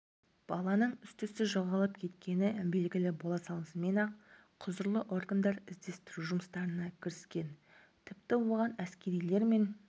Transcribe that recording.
баланың іс-түссіз жоғалып кеткені белгілі бола салысымен-ақ құзырлы органдар іздестіру жұмыстарына кіріскен тіпті оған әскерилер мен